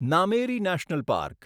Nameri national park